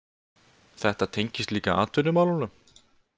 Þetta tengist líka atvinnumálunum